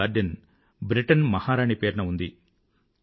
ఈ garden Britain మహారాణి పేరున ఉంది